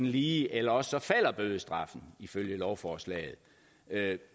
lige eller også falder bødestraffen ifølge lovforslaget